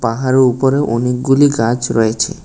পাহাড়ের উপরে অনেকগুলি গাছ রয়েছে।